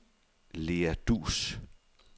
Lea Duus